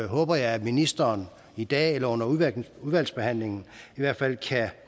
håber jeg at ministeren i dag eller under udvalgsbehandlingen i hvert fald kan